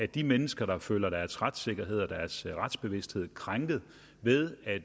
de mennesker der føler deres retssikkerhed og deres retsbevidsthed krænket ved at